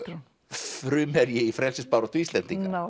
frumherji í frelsisbaráttu Íslendinga